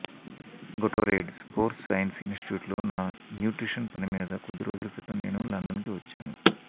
Gatorade sports science ఇనిస్టిట్యూట్లో నా nutrition పని మీద కొద్ది రోజుల క్రితం నేను లండన్కి వచ్చాను